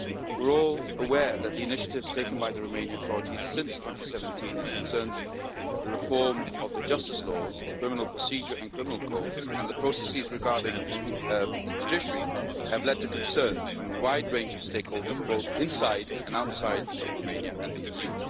We are all aware that the initiatives taken by the Romanian authorities since 2017 concerning the reform of the justice laws, the criminal procedure and criminal codes and the processes regarding the judiciary have led to concerns from a wide range of stakeholders, both inside and outside Romania and the EU.